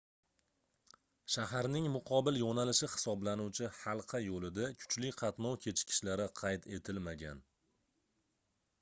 shaharning muqobil yoʻnalishi hisoblanuvchi halqa yoʻlida kuchli qatnov kechikishlari qayd etilmagan